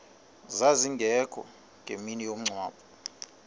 zazingekho ngemini yomngcwabo